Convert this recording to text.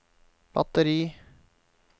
batteri